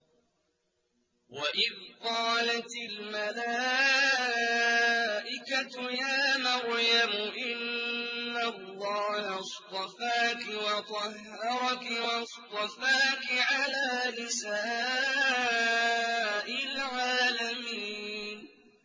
وَإِذْ قَالَتِ الْمَلَائِكَةُ يَا مَرْيَمُ إِنَّ اللَّهَ اصْطَفَاكِ وَطَهَّرَكِ وَاصْطَفَاكِ عَلَىٰ نِسَاءِ الْعَالَمِينَ